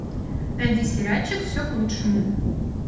найди сериальчик все к лучшему